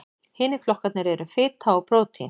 Hinir flokkarnir eru fita og prótín.